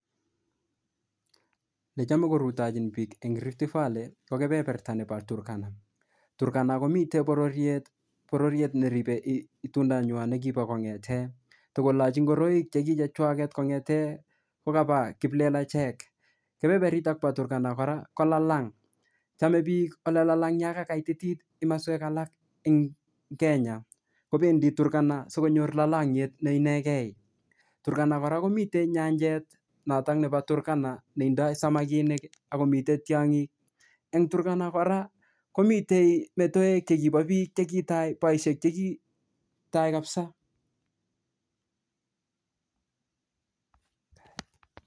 Yechame korutochin biik eng Rift Valley, ko kepeperta nebo Turkana. Turkana komite bororiet, bororiet neribe itundo nywa ne kibo kong'ete. Tikolachi ngoroik che ki chechwaket kong'ete kokaba kiplelachek. Kepeperitok bo Turkna kora, ko lalang. Chame biik ole lalang yoko kaitit kimoswek alak ing kenya, kobendi Turkana sikonyor lalangiet ne ienege. Turkana komite nyanjet notok nebo Turkana neindoi samakinik akomitei tiongik. Eng Turkana kora, komitei metoek chekibo biik cheki tai, boisiek che kitai kapsaa,